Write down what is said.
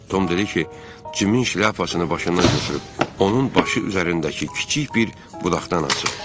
Tom dedi ki, Cimin şlyapasını başından götürüb, onun başı üzərindəki kiçik bir budaqdan asıb.